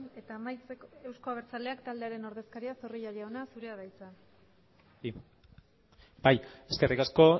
eta amaitzeko euzko abertzaleak taldearen ordezkariak zorrilla jauna zurea da hitza bai eskerrik asko